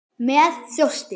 Með þjósti.